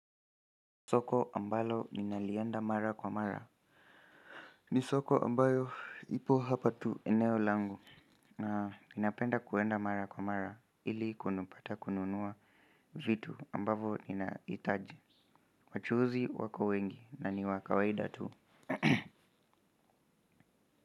Soko ambalo ninalienda mara kwa mara ni soko ambayo ipo hapa tu eneo langu na ninapenda kuenda mara kwa mara ili kunupata kununua vitu ambavo nina itaji. Wachuuzi wako wengi na niwa kawaida tu.